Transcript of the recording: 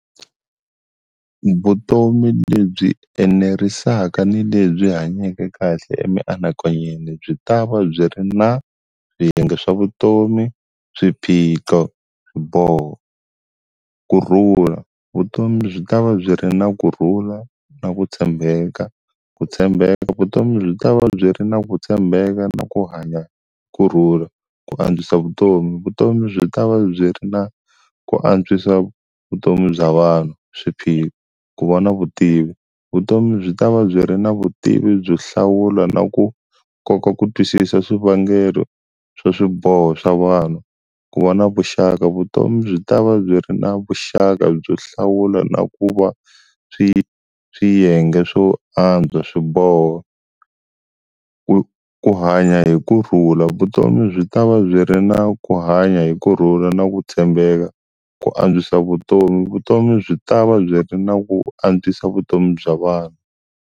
Vutomi lebyi enerisaka ni lebyi hanyake kahle emianakanyweni byi tava byi ri na swiyenge swa vutomi, swiphiqo, swiboho. Kurhula, vutomi byi ta va byi ri na kurhula na ku tshembeka, ku tshembeka vutomi byi ta va byi ri na ku tshembeka na ku hanya kurhula, ku antswisa vutomi vutomi byi ta va byi ri na ku antswisa vutomi bya vanhu. Swiphiqo, ku vona vutivi, vutomi byi ta va byi ri na vutivi byo hlawula na ku kota ku twisisa swivangelo swo swiboho swa vanhu, ku va na vuxaka vutomi byi ta va byi ri na vuxaka byo hlawula na ku va swi swiyenge swo antswa swiboho ku ku hanya hi kurhula, vutomi byi ta va byi ri na ku hanya hi kurhula na ku tshembeka ku antswisa vutomi vutomi byi ta va byi ri na ku antswisa vutomi bya vanhu.